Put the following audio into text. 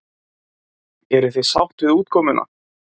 Erla: Eruð þið sátt við útkomuna?